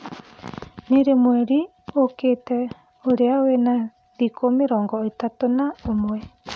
ni rii mwerĩ ukiite ũrĩa wina thĩkũ mĩrongo itatu na umwe